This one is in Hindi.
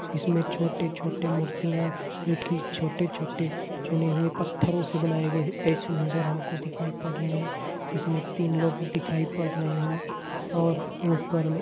इसमें छोटे-छोटे मूर्तिया ये की छोटे-छोटे चुने हुए पत्थरों से बनाए गए है एसे नज़र हमको दिखाई पद रही है इसमें तीन लोग दिखाई पड़ रहे है इसमें तीन लोग दिखाई पड़ रहे है और ऊपर में--